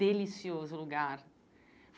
Delicioso lugar.